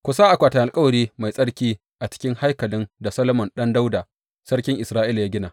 Ku sa akwatin alkawari mai tsarki a cikin haikalin da Solomon ɗan Dawuda sarkin Isra’ila ya gina.